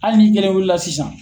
Hali n'i kelen wuli la sisan